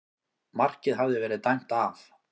Markið hafði verið dæmt af